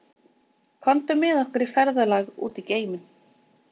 Komdu með okkur í ferðalag út í geiminn.